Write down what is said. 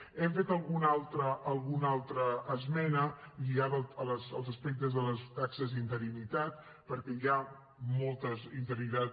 hem fet alguna altra esmena lligada als aspectes de les taxes d’interinitat perquè hi ha moltes interinitats